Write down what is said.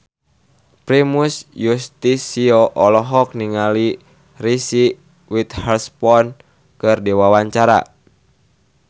Primus Yustisio olohok ningali Reese Witherspoon keur diwawancara